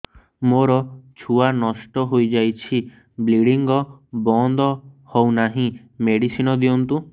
ମୋର ଛୁଆ ନଷ୍ଟ ହୋଇଯାଇଛି ବ୍ଲିଡ଼ିଙ୍ଗ ବନ୍ଦ ହଉନାହିଁ ମେଡିସିନ ଦିଅନ୍ତୁ